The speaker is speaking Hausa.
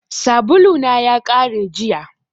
Sabulu na ya kare jiya.